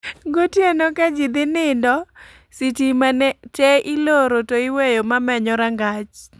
Gotieno ka ji dhi nindo, sitima te iloro to iweyo mamenyo rangach